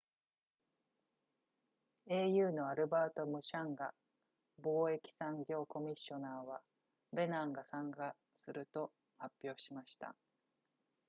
au のアルバートムシャンガ貿易産業コミッショナーはベナンが参加すると発表しました